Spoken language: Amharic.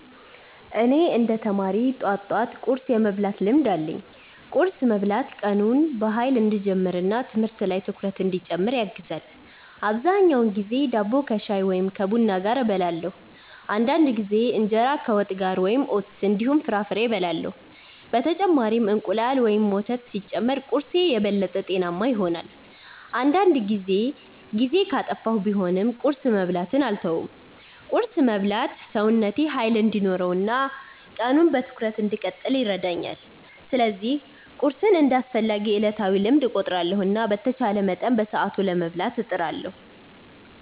እኔ እንደ ተማሪ ጠዋት ጠዋት ቁርስ የመብላት ልምድ አለኝ። ቁርስ መብላት ቀኑን በኃይል እንዲጀምር እና ትምህርት ላይ ትኩረት እንዲጨምር ያግዛል። አብዛኛውን ጊዜ ዳቦ ከሻይ ወይም ከቡና ጋር እበላለሁ። አንዳንድ ጊዜ እንጀራ ከወጥ ጋር ወይም ኦትስ እንዲሁም ፍራፍሬ እበላለሁ። በተጨማሪም እንቁላል ወይም ወተት ሲጨመር ቁርስዬ የበለጠ ጤናማ ይሆናል። አንዳንድ ጊዜ ጊዜ ካጠፋሁ ቢሆንም ቁርስ መብላትን አልተውም። ቁርስ መብላት ሰውነቴ ኃይል እንዲኖረው እና ቀኑን በትኩረት እንድቀጥል ይረዳኛል። ስለዚህ ቁርስን እንደ አስፈላጊ ዕለታዊ ልምድ እቆጥራለሁ እና በተቻለ መጠን በሰዓቱ ለመብላት እጥራለሁ።